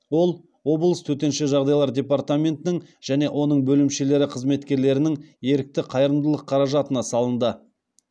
ол облыс төтенше жағдайлар департаментінің және оның бөлімшелері қызметкерлерінің ерікті қайырымдылық қаражатына салынды